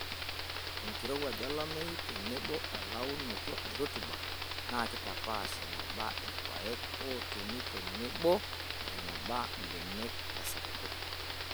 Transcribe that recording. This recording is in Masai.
Enkirowuaj, olameyu tenebo elauntoto e rutuba naa keitapaash eneba ilpayek ootumi tenebo eneba mbenek tesapuko.